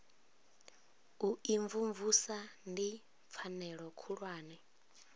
u imvumvusa ndi pfanelo khulwane